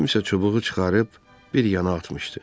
Kimsə çubuğu çıxarıb bir yana atmışdı.